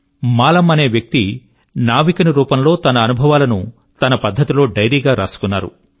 మాలమ్ అనే వ్యక్తి నావికుని రూపం లో తన అనుభవాలను తన పద్ధతి లో డైరీగా వ్రాసుకున్నాడు